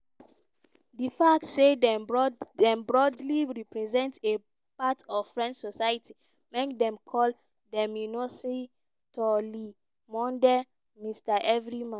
di fact say dem broadly represent a part of french society make dem call demmonsieur-tout-le-monde(mr everyman).